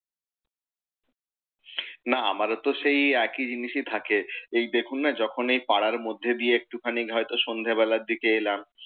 না আমাদের তো সেই একই জিনিসই থাকে। এই দেখুন না যখন এই পাড়ার মধ্যে দিয়ে একটুখানি হয়ত সন্ধ্যে বেলার দিকে এলাম,